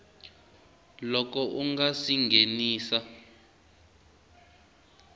loko u nga si nghenisa